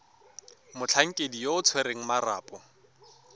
motlhankedi yo o tshwereng marapo